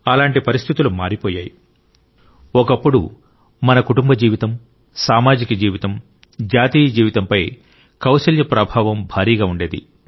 అలాంటి పరిస్థితులు ఎలా మారిపోయాయి ఒకప్పుడు మన కుటుంబ జీవితం సామాజిక జీవితం జాతీయ జీవితంపై కౌశల్య ప్రభావం భారీగా ఉండేది